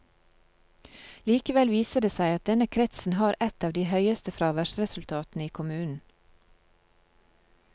Likevel viser det seg at denne kretsen har et av de høyeste fraværsresultatene i kommunen.